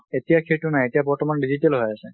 এতিয়া সেইটো নাই, এতিয়া digital বৰ্তমান হৈ আছে।